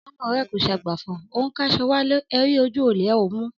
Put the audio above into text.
Ọmọ rẹ kọ sàgbàfọ, ọún kàsọ wàlẹ́,ẹ ri ójù òlé ẹ ọ mú